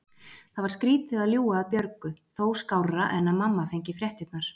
Það var skrýtið að ljúga að Björgu, þó skárra en að mamma fengi fréttirnar.